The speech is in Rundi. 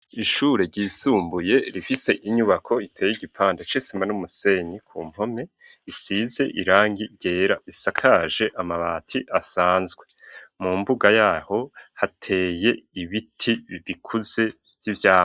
Ishure ryisumbuye rifise inyubako iteye igipanda cesima n'umusenyi ku mpome isize irangi yera isakaje amabati asanzwe mu mbuga yaho hateye ibiti bibikuze vyivyamwa.